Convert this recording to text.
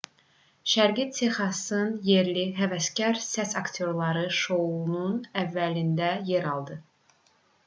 şərqi texasın yerli həvəskar səs aktyorları şounun əvvəlində yer aldı